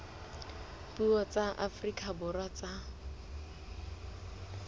dipuo tsa afrika borwa tsa